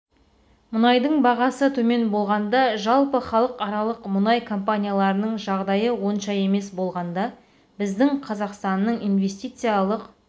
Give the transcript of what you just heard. мұнайдың бағасы төмен болғанда жалпы халықаралық мұнай компанияларының жағдайы онша емес болғанда біздің қазақстанның инвестициялық